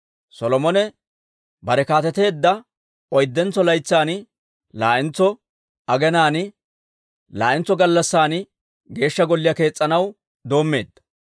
Solomone bare kaateteedda oyddentso laytsan, laa'entso aginaan, laa'entso gallassaan Geeshsha Golliyaa kees's'anaw doommeedda.